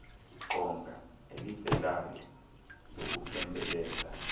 qonga elivelayo lokuphembelela